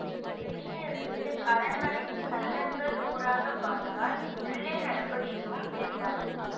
வெளியிலிருந்து அரண்மனை சன்னல்களூடாகப் பார்த்தால் உள்ளே நடப்பது எதுவும் தெரியாது